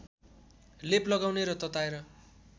लेप लगाउने र तताएर